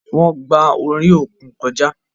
Wọn gbà orí òkun kọjá